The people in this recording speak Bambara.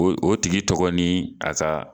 O tigi tɔgɔ ni a ka